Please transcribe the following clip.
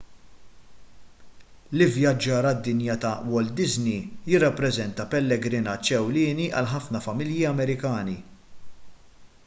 l-ivvjaġġar għad-dinja ta' walt disney jirrappreżenta pellegrinaġġ ewlieni għal ħafna familji amerikani